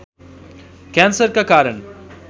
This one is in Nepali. क्यान्सरका कारण